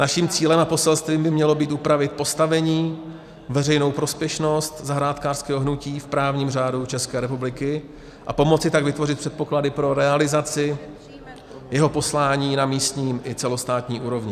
Naším cílem a poselstvím by mělo být upravit postavení, veřejnou prospěšnost zahrádkářského hnutí v právním řádu České republiky a pomoci tak vytvořit předpoklady pro realizaci jeho poslání na místní i celostátní úrovni.